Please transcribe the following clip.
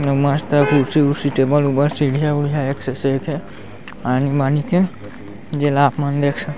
इहा मस्त कुर्सी ऊर्सी टेबल उबल सीढ़िया उड़िया एक से एक हे आनी बानी के जेला आप मन देख सक--